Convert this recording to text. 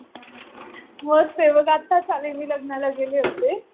मी मस्त. मस्त आहे मी. आताच आले. लग्नाला गेले होते.